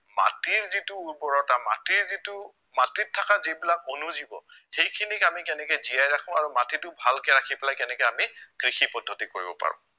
মাটিৰ যিটো উৰ্বৰতা, মাটিৰ যিটো মাটিত থকা যিবিলাক অনুজীৱ সেইখিনিক আমি কেনেকে জীয়াই ৰাখো আৰু মাটিটো ভালকে ৰাখি পেলাই কেনেকে আমি কৃষি পদ্ধতি কৰিব পাৰো